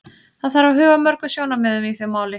Það þarf að huga að mörgum sjónarmiðum í því máli.